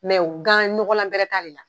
Mɛw ɲɔgɔlan bɛɛ t'ale la